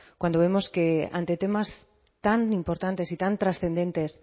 cuando vemos que ante temas tan importantes y tan trascendentes